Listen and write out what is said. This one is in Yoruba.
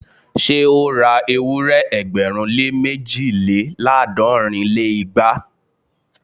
Ṣé ó ra ewúrẹ́ ẹgbẹ̀rún lé méjìléláàádọ́rin lé igba?